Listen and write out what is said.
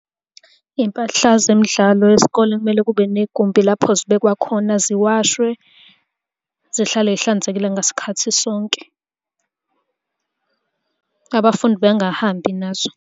Iy'mpahla zemidlalo yesikole kumele kube negumbi lapho zibekwe khona ziwashwe zihlale iy'hlanzekile ngasikhathi sonke. Abafundi bengahambi nazo.